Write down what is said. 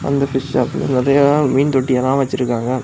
இந்த பிஷ் ஷாப்ல நெறைய மீன் தொட்டி எல்லாம் வச்சிருக்காங்க.